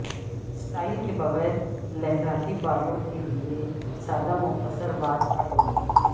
style کے بغیر لہراتی بالوں کے لئے سادہ مختصر بال کٹوتی